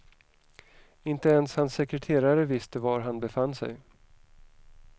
Inte ens hans sekreterare visste var han befann sig.